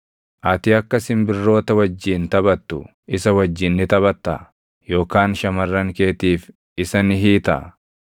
Ati akka simbirroota wajjin taphattu isa wajjin ni taphattaa? Yookaan shamarran keetiif isa ni hiitaa?